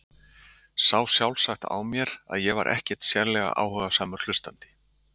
Sá sjálfsagt á mér að ég var ekkert sérlega áhugasamur hlustandi.